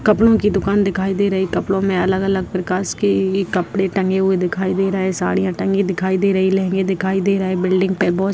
कपड़ो के दुकान दिखाई दे रही कपड़ो मे अलग-अलग प्रकाश के कपड़े टंगे हुए दिखाई दे रहे है साड़ियाँ टंगी दिखाई दे रही लहेंगे दिखाई दे रहे है बिल्डिंग पे बहु --